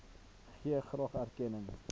gee graag erkenning